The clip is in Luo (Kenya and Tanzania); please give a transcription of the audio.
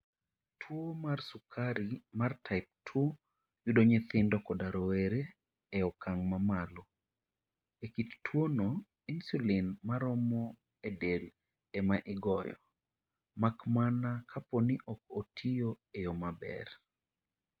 Tuwo mar sukari mar Type 2 yudo nyithindo koda rowere e okang' mamalo. E kit tuwono, insulin maromo e del ema igoyo, mak mana kapo ni ok otiyo e yo maber.